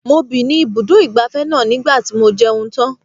Mo bì ní ibi ibùdó ìgbafẹ́ náà ní ìgbà tí mo jẹun tán.